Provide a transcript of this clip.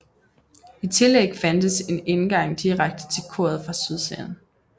I tillæg fandtes en indgang direkte til koret fra sydsiden